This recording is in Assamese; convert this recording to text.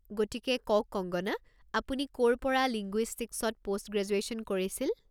গতিকে, কওক কঙ্গনা, আপুনি ক'ৰ পৰা লিঙ্গুইষ্টিকছত পোষ্ট গ্ৰেজুৱেশ্যন কৰিছিল?